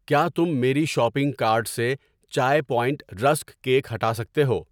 کیا تم میری شاپنگ کارٹ سے چائے پوائنٹ رسک کیک ہٹا سکتے ہو؟